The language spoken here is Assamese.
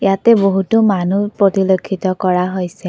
ইয়াতে বহুতো মানুহ পতিলক্ষিত কৰা হৈছে।